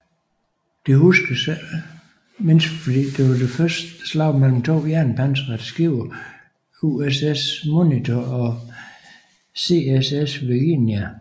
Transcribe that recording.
Det huskes ikke mindst fordi det var det første slag mellem to jernpansrede skibe USS Monitor og CSS Virginia